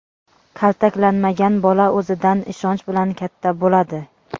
Kaltaklanmagan bola o‘zidan ishonch bilan katta bo‘ladi.